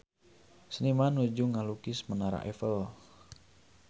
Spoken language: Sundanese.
Seniman nuju ngalukis Menara Eiffel